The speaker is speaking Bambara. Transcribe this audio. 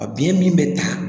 A biyɛn min bɛ ta